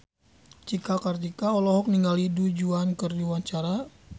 Cika Kartika olohok ningali Du Juan keur diwawancara